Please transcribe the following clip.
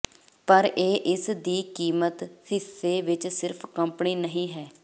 ਪਰ ਇਹ ਇਸ ਦੀ ਕੀਮਤ ਹਿੱਸੇ ਵਿਚ ਸਿਰਫ ਕੰਪਨੀ ਨਹੀ ਹੈ